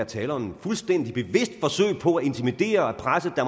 tale om et fuldstændig bevidst forsøg på at intimidere og presse